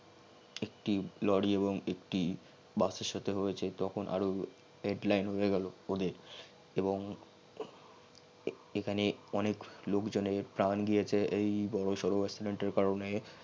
একটি লরি এবং একটি বাচ্চার সাথে হয়েছে তখন আরও উরে গেল অদের এবং এখানে অনেক লোকজনের প্রান গিয়েছে অই বর সর accident এর কারনে